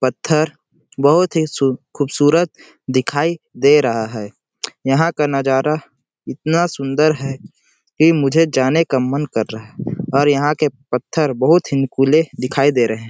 पत्थर बहुत ही सु खूबसूरत दिखाई दे रहा है यहाँ का नजारा इतना सुंदर है कि मुझे जाने का मन कर रहा है और यहाँ के पत्थर बहुत ही नुकीले दिखाई दे रहे हैं ।